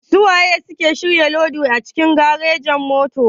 Suwa suke shirya lodi a cikin garejin-motoci?